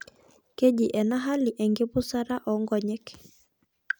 Keji ena hali enkipusata oonkonyek.